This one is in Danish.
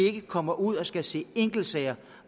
ikke kommer ud og skal se enkeltsager